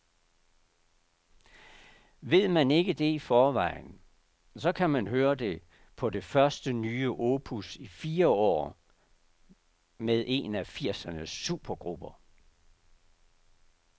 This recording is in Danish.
Ved man ikke det i forvejen, så kan man høre det på det første nye opus i fire år med en af firsernes supergrupper.